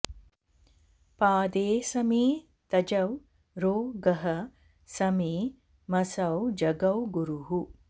पादेऽसमे तजौ रो गः समे मसौ जगौ गरुः